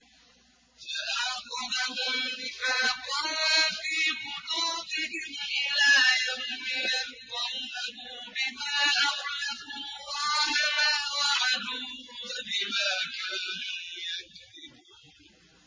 فَأَعْقَبَهُمْ نِفَاقًا فِي قُلُوبِهِمْ إِلَىٰ يَوْمِ يَلْقَوْنَهُ بِمَا أَخْلَفُوا اللَّهَ مَا وَعَدُوهُ وَبِمَا كَانُوا يَكْذِبُونَ